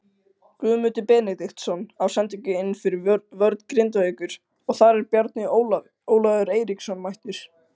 Guðmundur Benediktsson á sendingu inn fyrir vörn Grindavíkur og þar er Bjarni Ólafur Eiríksson mættur.